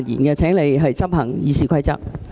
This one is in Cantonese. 代理主席，請執行《議事規則》。